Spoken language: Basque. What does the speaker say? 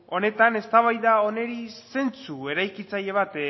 honetan eztabaida honi zeintzu eraikitzaile bat